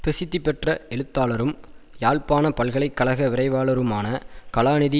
பிரசித்தி பெற்ற எழுத்தாளரும் யாழ்ப்பாண பல்கலை கழக விரைவாளருமான கலாநிதி